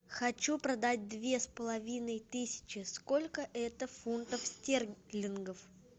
хочу продать две с половиной тысячи сколько это фунтов стерлингов